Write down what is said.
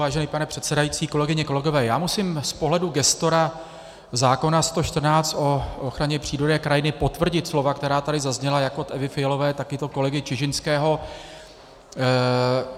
Vážený pane předsedající, kolegyně, kolegové, já musím z pohledu gestora zákona 114, o ochraně přírody a krajiny, potvrdit slova, která tady zazněla jak od Evy Fialové, tak i od kolegy Čižinského.